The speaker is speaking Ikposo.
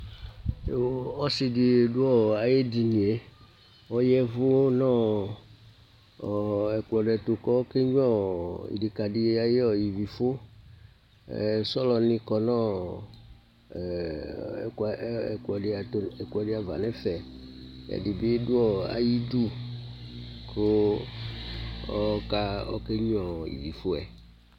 Ɔsɩ ɖɩ ɖʋ aƴʋ eɖinieƆƴaɛvʋ nʋ ɛƙplɔ ɖɩ ɛtʋ, ƙʋ oƙe nƴuǝ ɩɖɩƙaɖɩ aƴʋ ivifʋSɔlɔ nɩ ƙɔ nʋ ɛƙplɔ ɖɩ ava nʋ ɛfɛƐɖɩ bɩ ɖʋ aƴʋ iɖu ,ƙ oƙe nƴuǝ ivi fʋɛ